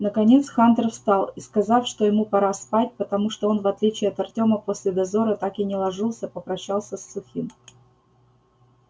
наконец хантер встал и сказав что ему пора спать потому что он в отличие от артёма после дозора так и не ложился попрощался с сухим